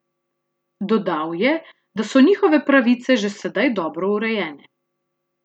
Dodal je, da so njihove pravice že sedaj dobro urejene.